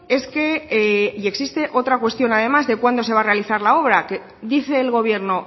es que y existe otra cuestión además de cuándo se va a realizar la obra que dice el gobierno